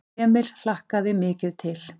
Emil hlakkaði mikið til.